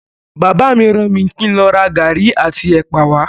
Bàbá mi ràn mí kín lọ ra garri àti ẹ̀pà wa.